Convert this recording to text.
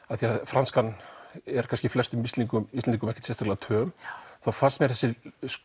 af því franskan er kannski flestum Íslendingum Íslendingum ekki sérstaklega töm þá fannst mér þessi